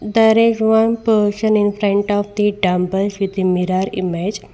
There is one person in front of the dumbbells with the mirror image.